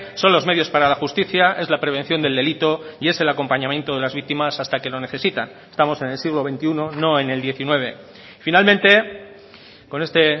son los medios para la justicia es la prevención del delito y es el acompañamiento de las víctimas hasta que lo necesitan estamos en el siglo veintiuno no en el diecinueve finalmente con este